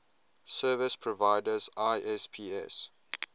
service providers isps